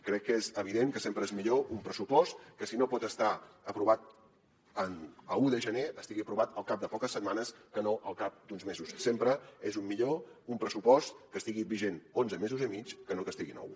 crec que és evident que sempre és millor un pressupost que si no pot estar aprovat a un de gener estigui aprovat al cap de poques setmanes que no al cap d’uns mesos sempre és millor un pressupost que estigui vigent onze mesos i mig que no que n’estigui nou